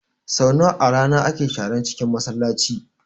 Sau nawa a rana ake sharan cinkin Masallaci?